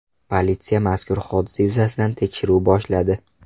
Politsiya mazkur hodisa yuzasidan tekshiruv boshladi.